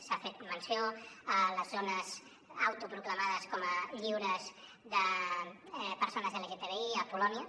s’ha fet menció a les zones autoproclamades com a lliures de persones lgtbi a polònia